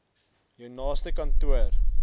jou naaste kantoor